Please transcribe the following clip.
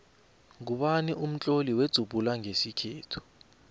ngubani umtloli wenzubhula nqesikhethu